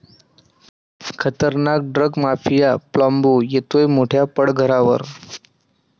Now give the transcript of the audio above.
खतरनाक drugs mafia 'Pablo' येतोय मोठ्या पडद्यावर!